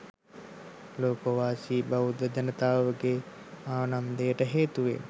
ලෝකවාසී බෞද්ධ ජනතාවගේ ආනන්දයට හේතුවන